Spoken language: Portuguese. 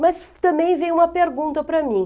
Mas também vem uma pergunta para mim.